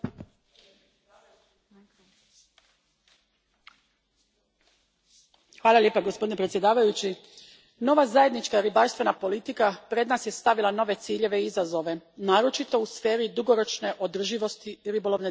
Gospodine predsjedniče, nova zajednička ribarstvena politika pred nas je stavila nove ciljeve i izazove, naročito u sferi dugoročne održivosti ribolovne djelatnosti, a ova će ih uredba ugraditi u upravljanje vanjskim ribarskim flotama.